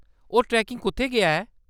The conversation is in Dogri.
ओह्‌‌ ट्रेकिंग कुʼत्थै गेआ ऐ ?